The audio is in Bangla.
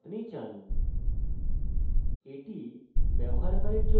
আমরা এখানে উপরে যাই এবং লিখি error reporting